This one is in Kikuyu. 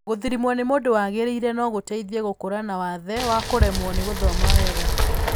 Gũthũrimwo nĩ mũndũ wagĩrĩire no gũteithie gũkũrana wathe wa kũremwo nĩ gũthoma wega.